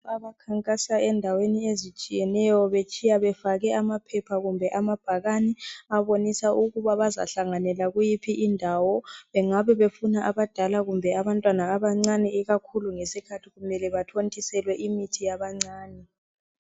Abakhankasa endaweni ezitshiyeneyo betshiya befake amaphepha kumbe amabhakani abonisa ukuba bazahlanganela kuyiphi indawo. Bengabe befuna abadala kumbe abantwana abancane ikakhulu ngesikhathi kumele bathontiselwe imithi yabancane.